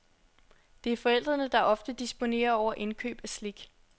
Det er forældrene, der ofte disponerer over indkøb af slik.